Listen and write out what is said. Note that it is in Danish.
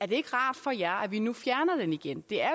det ikke rart for jer at vi nu fjerner den igen det er